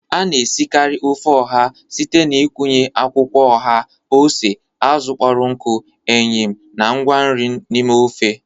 A na-esikarị ofe oha site n'ịkụnye akwụkwọ oha, ose, azụ kpọrọ nkụ, eyịm na ngwa nri n'ime ofe.